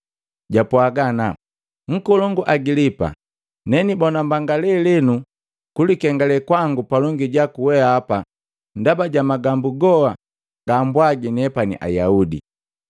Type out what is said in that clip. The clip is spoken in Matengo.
Jwapwaga ana, “Nkolongu Agilipa! Nenibona mbanga lelenu kulikengale kwangu palongi jaku weapa ndaba ja magambu goha gaambwagi nepani Ayaudi,